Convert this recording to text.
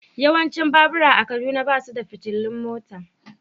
Yawancin babura a Kaduna ba su da fitilun mota.